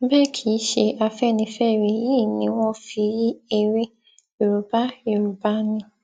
bẹẹ kì í ṣe afẹnifẹre yìí ni wọn fi yí ère yorùbá yorùbá ni